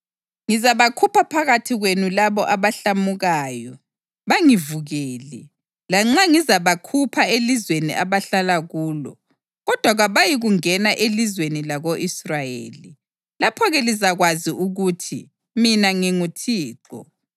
Ngizabakhupha phakathi kwenu labo abahlamukayo bangivukele. Lanxa ngizabakhupha elizweni abahlala kulo, kodwa kabayikungena elizweni lako-Israyeli. Lapho-ke lizakwazi ukuthi mina nginguThixo.